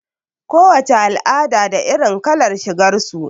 Ko wace al'ada da irin kalar shigar su.